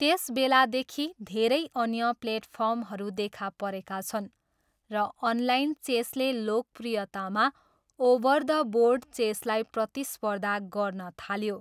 त्यसबेलादेखि, धेरै अन्य प्लेटफर्महरू देखा परेका छन्, र अनलाइन चेसले लोकप्रियतामा ओभर द बोर्ड चेसलाई प्रतिस्पर्धा गर्न थाल्यो।